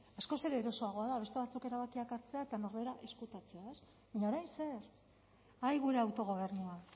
askoz ere erosoagoa da beste batzuk erabakiak hartzea eta norbera ezkutatzea ez baina orain zer ai gure autogobernua